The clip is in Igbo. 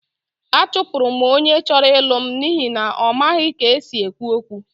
Achụpụrụ m onye chọrọ ịlụ m n'ihi na ọ maghị ka e si ekwu okwu